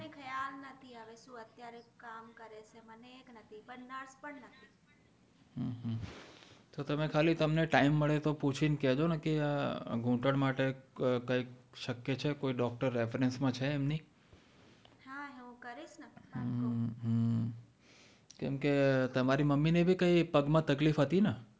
કેમકે તમારે મમ્મી ને કંઈ પગ માં તકલીફ હતી ને